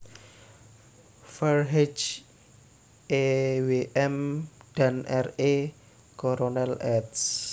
Verheij E W M dan R E Coronel eds